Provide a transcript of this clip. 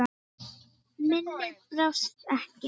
Minnið brást ekki.